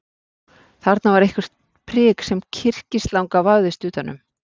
Þarna var eitthvert prik sem kyrkislanga vafðist utan um.